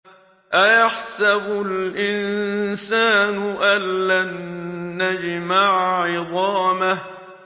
أَيَحْسَبُ الْإِنسَانُ أَلَّن نَّجْمَعَ عِظَامَهُ